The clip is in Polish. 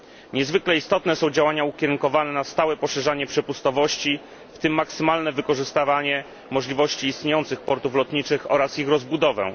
Niezwykle istotne są działania ukierunkowane na stałe poszerzanie przepustowości, w tym na maksymalne wykorzystywanie możliwości istniejących portów lotniczych oraz na ich rozbudowę.